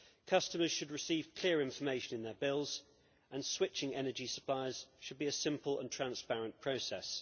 Customers should receive clear information in their bills, and switching energy suppliers should be a simple and transparent process.